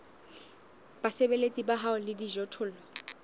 basebeletsi ba hao le dijothollo